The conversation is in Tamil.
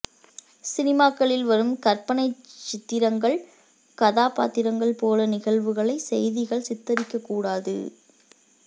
சினிமாக்களில் வரும் கற்பனைச்சித்திரங்கள் கதா பாத்திரங்கள் போல நிகழ்வுகளது செய்திகள சித்தரிக்கக்கூடாது